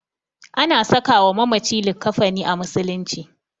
Ana sakawa mamaci likkafani a musulunci.